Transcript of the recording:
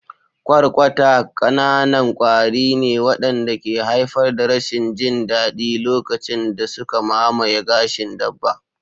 Kwarkwata ƙananan kwari ne waɗanda ke haifar da rashin jin daɗi lokacin da suka mamaye gashin dabba.